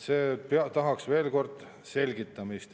See tahaks veel kord selgitamist.